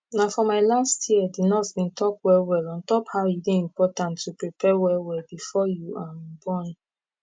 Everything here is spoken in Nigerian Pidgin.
na for my last year d nurse bin talk well well on top how e dey important to prepare well well before you um born